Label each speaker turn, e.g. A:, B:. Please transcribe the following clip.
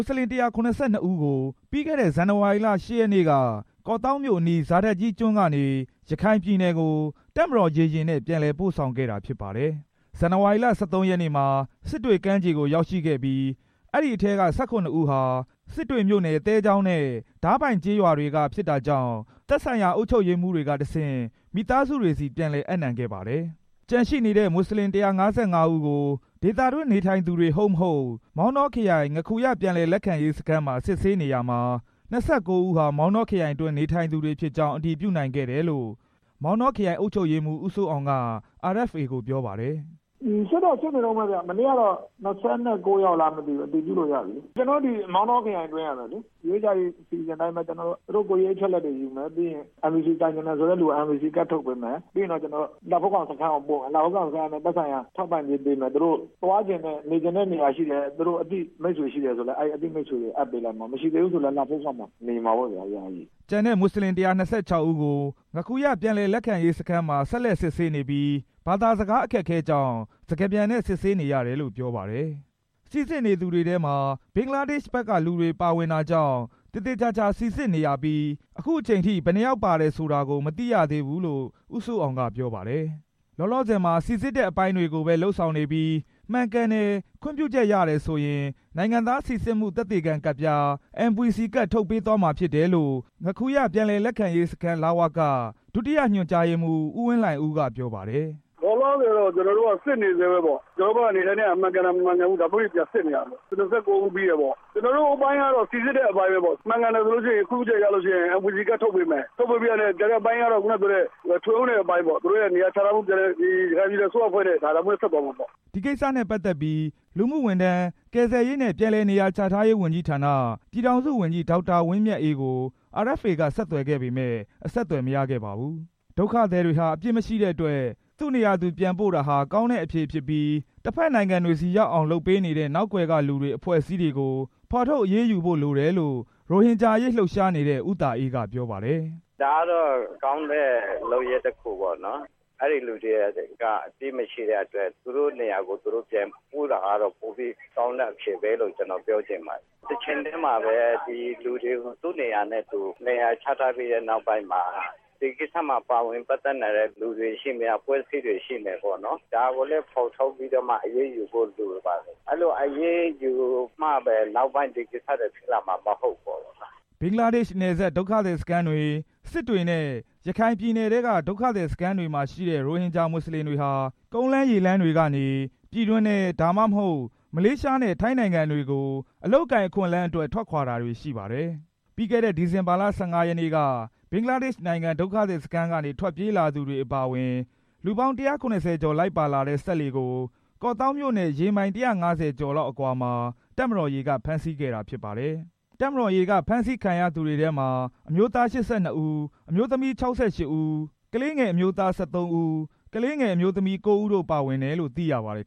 A: တ်ဆလင် ၁၇၂ ဦးကို ပြီးခဲ့တဲ့ ဇန်နဝါရီလ ၈ ရက်နေ့က ကော့သောင်းမြို့အနီး ဇာဒတ်ကြီးကျွန်းကနေ ရခိုင် ပြည်နယ်ကို တပ်မတော်ရေယာဉ်နဲ့ ပြန်လည်ပို့ဆောင်ခဲ့တာ ဖြစ်ပါတယ်။ ဇန်နဝါရီလ ၁၃ ရက်နေ့မှာ စစ်တွေကမ်းခြေကို ရောက်ရှိခဲ့ပြီး အဲဒီထဲက ၁၇ ဦးဟာ စစ်တွေမြို့နယ် သဲချောင်းနဲ့ ဒါးပိုင်ကျေးရွာတွေက ဖြစ်တာကြောင့် သက်ဆိုင်ရာ အုပ်ချုပ်ရေးမှူးတွေကတဆင့် မိသားစုတွေဆီ ပြန်လည် အပ်နှံခဲ့ပါတယ်။ ကျန်ရှိနေတဲ့ မွတ်ဆလင် ၁၅၅ ဦးကို ဒေသတွင်းနေထိုင်သူတွေ ဟုတ် မဟုတ် မောင်တောခရိုင် ငါးခူရပြန်လည် လက်ခံရေးစခန်းမှာ စစ်ဆေးနေရာမှာ ၂၉ ဦးဟာ မောင်တောခရိုင်အတွင်း နေထိုင်သူတွေဖြစ်ကြောင်း အတည်ပြုနိုင်ခဲ့တယ်လို့ မောင်တောခရိုင် အုပ်ချုပ်ရေးမှူး ဦးစိုးအောင်က RFA ကို ပြောပါတယ်။
B: “စစ်တော့ စစ်နေတုန်းပဲဗျ။ မနေ့ကတော့ ၂၉ ယောက် အတည်ပြုလို့ရပြီ။ မောင်တောခရိုင်အတွင်းကပဲလေ။ UEHRD အစီအစဉ်အတိုင်ပဲ သူတို့ ကိုယ်ရေးအချက်အလက်တွေယူမယ်။ ပြီးရင် NVC ကိုင်ချင်တဲ့သူ NVC ကတ်ထုတ်ပေးမယ်။ လှဖိုးခေါင်စခန်းကိုပို့မယ်၊ သက်ဆိုင်ရာက သူတို့ကို ထောက်ပံ့ကြေးပေးမယ်။ သူတို့ သွားချင်တဲ့ နေချင်တဲ့နေရာရှိတယ် သူတို့အသိမိတ်ဆွေရှိတယ်ဆိုရင် အဲဒီအသိမိတ်ဆွေကို အပ်ပေးလိုက်မှာ မရှိသေးဘူးဆိုရင်လည်း လှဖိုးခေါင်မှာ ယာယီနေရမှာပေါ့ဗျာ”
A: ကျန်တဲ့ မွတ်စလင် ၁၂၆ ဦးကို ငါးခူရ ပြန်လည်လက်ခံရေးစခန်းမှာ ဆက်လက်စစ်ဆေးနေပြီး ဘာသာစကား အခက်အခဲကြောင့် စကားပြန်နဲ့ စစ်ဆေးနေရတယ်လို့ ပြောပါတယ်။ ငါးခူရ ပြန်လည်လက်ခံရေးစခန်းမှာ စိစစ်နေသူတွေထဲမှာ ဘင်္ဂလားဒေ့ရှ်ဘက်ကလူတွေ ပါဝင်တာကြောင့် သေသေချာချာစိစစ်နေရပြီး အခုအချိန်ထိ ဘယ်နှစ်ယောက်ပါတယ်ဆိုတာကို မသိရသေးဘူး လို့ ဦးစိုးအောင် က ပြောပါတယ်။ လောလောဆယ်မှာ စိစစ်တဲ့အပိုင်းတွေကိုပဲ လုပ်ဆောင်နေပြီး မှန်ကန်တယ် ခွင့်ပြုချက်ရတယ်ဆိုရင် နိုင်ငံသား စိစစ်မှု သက်သေခံကတ်ပြား NVC ကတ် ထုတ်ပေးသွားမှာဖြစ်တယ်လို့ ငါးခူ ရပြန်လည်လက်ခံရေးစခန်းရဲ့ ဒုတိယညွှန်ကြားရေးမှူး ဦးဝင်းလှိုင်ဦး က ပြောပါတယ်။
B: “လောလောဆယ်တော့ ကျွန်တော်တို့က စစ်နေဆဲပဲပေါ့။ ကျွန်တော်တို့ဘက်က နေထိုင်တာ မှန်ကန်တယ်၊ မမှန်ကန်ဘူး ဒါမျိုးတွေ ပြန်စစ်နေရတာပေါ့။ ၂၉ ဦးပြီးတယ်ပေါ့။ ကျွန်တော်တို့ အပိုင်းကတော့ စိစစ်တဲ့ အပိုင်းပဲပေါ့။ မှန်ကန်တယ်ဆိုလို့ရှိရင် ခွင့်ပြုချက်ရတယ်ဆိုရင် NVC ကတ်ထုတ်ပေးမယ်။ ထုတ်ပေးပြီးတာနဲ့ ကျန်တဲ့အပိုင်းကတော့ ပြန်လည်နေရာချထားရေး၊ ထွေအုပ်နဲ့ ရခ
A: ိုင်ပြည်နယ်အစိုးရအဖွဲ့နဲ့ ဆက်သွားမှာပေါ့။” ဒီကိစ္စနဲ့ပတ်သက်ပြီး လူမှုဝန်ထမ်း ကယ်ဆယ်ရေးနဲ့ ပြန်လည်နေရာချထားရေးဝန်ကြီးဌာန ပြည်ထောင်စုဝန်ကြီး ဒေါက်တာဝင်းမြတ်အေးကို RFA က ဆက်သွယ်ခဲ့ပေမယ့် အဆက်အသွယ်မရခဲ့ပါဘူး။ ဒုက္ခသည်တွေဟာ အပြစ်မရှိတဲ့အတွက် သူ့နေရာသူပြန်ပို့တာဟာ ကောင်းတဲ့အဖြေဖြစ်ပြီး တဖက်နိုင်ငံတွေဆီ ရောက်အောင်လုပ်ပေးနေတဲ့ နောက်ကွယ်ကလူတွေ၊ အဖွဲ့အစည်းတွေကို ဖော်ထုတ်အရေးယူဖို့လိုတယ်လို့ ရိုဟင်ဂျာအရေး လှုပ်ရှားနေတဲ့ ဦးသာအေး က ပြောပါတယ်။
C: “ဒါကတော့ ကောင်းတဲ့လုပ်ရပ်တစ်ခုပေါ့နော်။ အဲဒီလူတွေက အပြစ်မရှိတဲ့အတွက် သူတို့နေရာကို သူတို့ ပြန်ပို့ တာကတော့ ပိုပြီးကောင်းတဲ့အဖြေပဲလို့ ကျွန်တော်ပြောချင်ပါတယ်။ တချိန်တည်းမှာပဲ ဒီလူတွေကို သူနေရာနဲ့သူ နေရာချထားပြီးတဲ့နောက်ပိုင်းမှာ ဒီကိစ္စမှာ ပါဝင်ပတ်သက်နိုင်တဲ့ လူတွေရှိမယ်၊ အဖွဲ့အစည်းတွေ ရှိမယ်ပေါ့နော်။ ဒါကိုလည်း ဖော်ထုတ်ပြီးတော့ အရေးယူဖို့လိုပါတယ်။ အဲဒီလို အရေးယူမှပဲ နောက်ပိုင်းဒီကိစ္စတွေ ဖြစ်လာမှာ မဟုတ်ဘူးပေါ့။”
A: ဘင်္ဂလားဒေ့ရှ်နယ်စပ် ဒုက္ခသည်စခန်းတွေ၊ စစ်တွေနဲ့ ရခိုင်ပြည်နယ်ထဲက ဒုက္ခသည်စခန်းတွေမှာရှိတဲ့ ရိုဟင်ဂျာ မွတ်စလင်တွေဟာ ကုန်းလမ်း၊ ရေလမ်းတွေကနေ ပြည်တွင်းထဲ၊ ဒါမှမဟုတ် မလေးရှားနဲ့ ထိုင်းနိုင်ငံတွေကို အလုပ်အကိုင်အခွင့်အလမ်းအတွက် ထွက်ခွာတာတွေရှိပါတယ်။ ပြီးခဲ့တဲ့ ဒီဇင်ဘာ ၁၅ ရက်နေ့က ဘင်္ဂလားဒေ့ရှ်နိုင်ငံ ဒုက္ခသည်စခန်းကနေ ထွက်ပြေးလာသူတွေ အပါအဝင် လူပေါင်း ၁၇၀ ကျော် လိုက်ပါလာတဲ့ စက်လှေကို ကော့သောင်းမြို့နဲ့ ရေမိုင် ၁၅၀ ကျော်လောက်အကွာမှာ တပ်မတော်ရေက ဖမ်းဆီးခဲ့တာဖြစ်ပါတယ်။ တပ်မတော်ရေက ဖမ်းဆီးခံရသူတွေထဲမှာ အမျိုးသား ၈၂ ဦး၊ အမျိုးသမီး ၆၈ ဦး၊ ကလေးငယ်အမျိုးသား ၁၃ ဦး၊ ကလေးငယ်အမျိုးသမီး ၉ ဦး ပါဝင်တယ်လို့ သိရပါတယ်